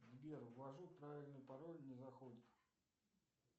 сбер ввожу правильный пароль не заходит